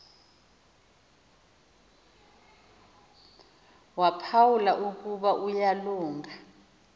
waphawula ukuba uyalunga